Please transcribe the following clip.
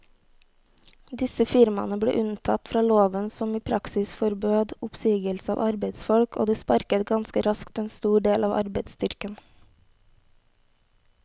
Disse firmaene ble unntatt fra loven som i praksis forbød oppsigelse av arbeidsfolk, og de sparket ganske raskt en stor del av arbeidsstyrken.